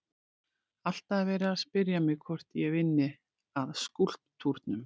Alltaf er verið að spyrja mig hvort ég vinni að skúlptúrnum.